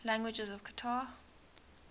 languages of qatar